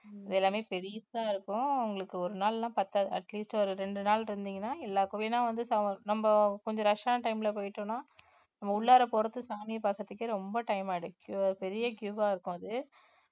இது எல்லாமே பெருசா இருக்கும் உங்களுக்கு ஒரு நாள் எல்லாம் பத்தாது atleast ஒரு ரெண்டு நாள் இருந்தீங்கன்னா எல்லா கோவிலும் ஏன்னா வந்து நம்ம கொஞ்சம் rush ஆன time ல போயிட்டோம்ன்னா நம்ம உள்ளாற போறது சாமியை பாக்குறதுக்கே ரொம்ப time ஆயிடும் அஹ் பெரிய queue அ இருக்கும் அது